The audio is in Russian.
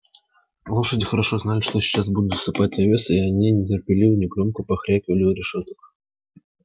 лошади хорошо знали что сейчас будут засыпать овёс и от нетерпения негромко покряхтывали у решёток